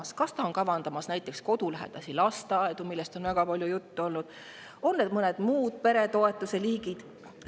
Kas on kavas näiteks kodulähedasi lasteaedu, millest on väga palju juttu olnud, või on mingid muud peretoetuse liigid?